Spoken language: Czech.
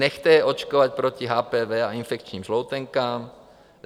Nechte je očkovat proti HPV a infekčním žloutenkám.